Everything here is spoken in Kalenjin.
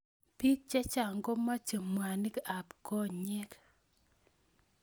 Pik chechang' komache mwanik ab konyek